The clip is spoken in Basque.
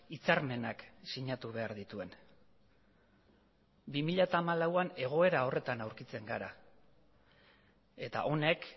hitzarmenak sinatu behar dituen bi mila hamalauean egoera horretan aurkitzen gara eta honek